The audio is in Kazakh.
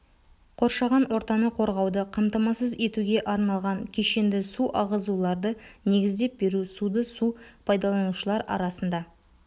қоршаған ортаны қорғауды қамтамасыз етуге арналған кешенді су ағызуларды негіздеп беру суды су пайдаланушылар арасында